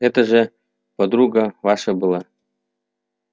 это что же подруга ваша была